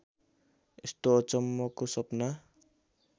यस्तो अचम्मको सपना